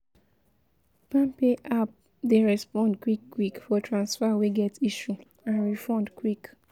palmpay app dey respond quick quick for transfer wey get issue and refund quick